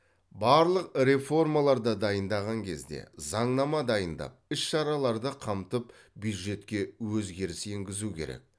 барлық реформаларды дайындаған кезде заңнама дайындап іс шараларды қамтып бюджетке өзгеріс енгізу керек